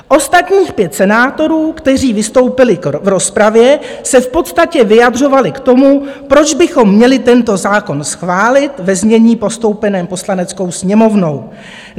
Ostatních pět senátorů, kteří vystoupili v rozpravě, se v podstatě vyjadřovalo k tomu, proč bychom měli tento zákon schválit ve znění postoupeném Poslaneckou sněmovnou.